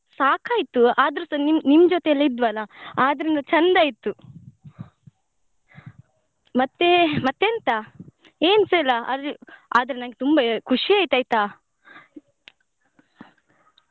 ಸಾಕಾಯ್ತು ಆದ್ರೂಸ ನಿಮ್ ನಿಮ್ ಜೊತೆಯೆಲ್ಲ ಇದ್ವಲ್ಲ ಆದ್ರಿಂದ ಚಂದ ಇತ್ತು ಮತ್ತೆ ಮತ್ತೆಂತ ಏನ್ಸ ಇಲ್ಲ ಅಲ್ಲಿ ಆದ್ರೆ ನಂಗೆ ತುಂಬಾ ಖುಷಿ ಆಯ್ತು ಆಯ್ತಾ.